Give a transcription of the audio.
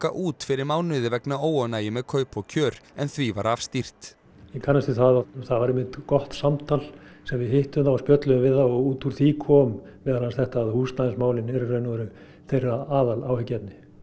út fyrir mánuði vegna óánægju með kaup og kjör en því var afstýrt ég kannast við það það var einmitt gott samtal sem við hittum þá og spjölluðum við þá og út úr því kom meðal annars þetta að húsnæðismálin eru í raun og veru þeirra aðal áhyggjuefni